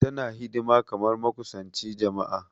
Tana hidima kamar makusanchi jama'a.